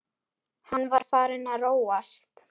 Hann var farinn að róast.